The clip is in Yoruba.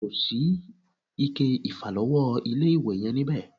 Kosi ike ìfàlọ́wọ́ ilé-ìwẹ̀ yẹn níbẹ̀